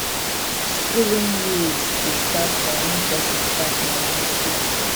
skooling years dey start from wen pesin start nursery skool